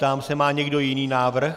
Ptám se: má někdo jiný návrh?